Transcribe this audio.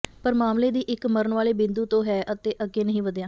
ਪਰ ਮਾਮਲੇ ਦੀ ਇੱਕ ਮਰਨ ਵਾਲੇ ਬਿੰਦੂ ਤੋਂ ਹੈ ਅਤੇ ਅੱਗੇ ਨਹੀਂ ਵਧਿਆ